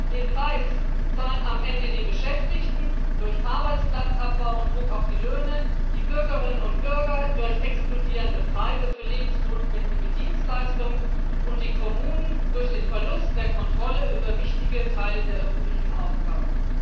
Den Preis zahlen am Ende die Beschäftigten durch Arbeitsplatzabbau und Druck auf die Löhne, die Bürgerinnen und Bürger durch explodierende Preise für lebensnotwendige Dienstleistungen und die Kommunen durch den Verlust der Kontrolle über wichtige Teile der öffentlichen Aufgaben.